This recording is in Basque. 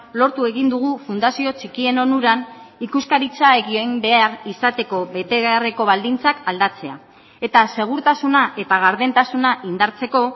lortu egin dugu fundazio txikien onuran ikuskaritza egin behar izateko betebeharreko baldintzak aldatzea eta segurtasuna eta gardentasuna indartzeko